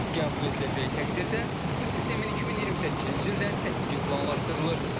Qəbul ediləcəyi təqdirdə bu sistemin 2028-ci ildən tətbiqi planlaşdırılır.